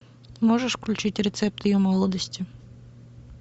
можешь включить рецепт ее молодости